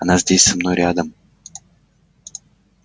она здесь со мной рядом